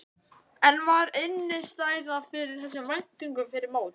En var innistæða fyrir þessum væntingum fyrir mót?